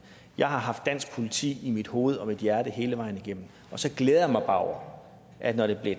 jeg har haft dansk politik i mit hoved og mit hjerte hele vejen igennem og så glæder jeg mig bare over at når det er